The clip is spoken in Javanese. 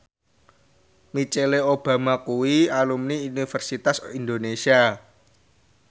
Michelle Obama kuwi alumni Universitas Indonesia